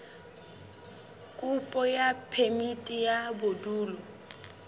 kopo ya phemiti ya bodulo